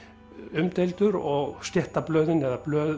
umdeildur og stéttablöðin eða blöð